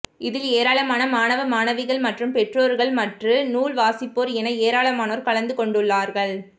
இதில் ஏராளமான மாணவ மணவிகள் மற்றும் பெற்றோா்கள் மற்று நூல் வாசிப்போா் என ஏராளமானோா் எகலந்துகொண்டாா்கள்